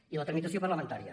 i la tramitació parlamentària